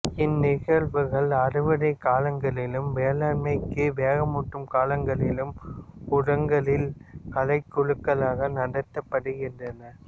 இந்நிகழ்வுகள் அறுவடைகாலங்களிலும் வேளாண்மைக்கு வேகமூட்டும் காலங்களிலும் ஊரகங்களில் கலைக் குழுக்களால் நடத்தப்படுகின்றன